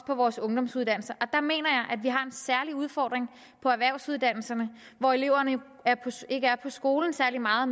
på vores ungdomsuddannelser og udfordring på erhvervsuddannelserne hvor eleverne ikke er på skolen særlig meget